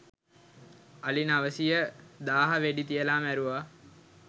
අලි නවසීය දාහ වෙඩි තියලා මැරුවා.